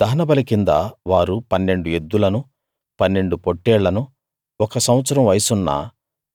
దహనబలి కింద వారు పన్నెండు ఎద్దులను పన్నెండు పొట్టేళ్లనూ ఒక సంవత్సరం వయసున్న